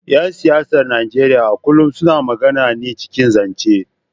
‘Yan siyasar Najeriya a kullum suna magana ne cikin zance.